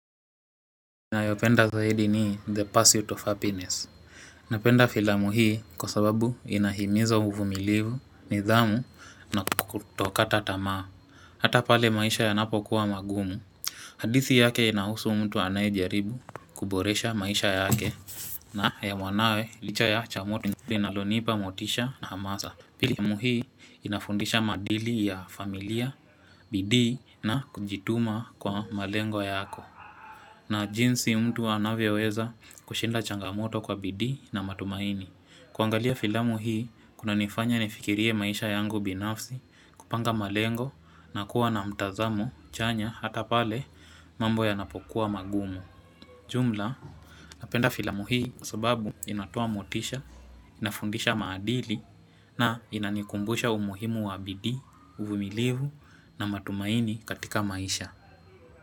Nayo penda zaidi ni the pursuit of happiness Napenda filamu hii kwa sababu inahimiza uvumilivu, nidhamu na kutokata tamaa Hata pale maisha yanapo kuwa magumu hadithi yake inahusu mtu anayejaribu kuboresha maisha yake na ya mwanawe licha ya changamoto ile inalonipa motisha na hamasa Pili ya muhii inafundisha madili ya familia, bidii na kujituma kwa malengo yako na jinsi mtu anavyoweza kushinda changamoto kwa bidii na matumaini. Kuangalia filamu hii, kunanifanya nifikirie maisha yangu binafsi, kupanga malengo na kuwa na mtazamo chanya hata pale mambo yanapokuwa magumu. Jumla, napenda filamu hii kwa sababu inatoa motisha, inafundisha maadili na inanikumbusha umuhimu wa bidii, uvumilivu na matumaini katika maisha.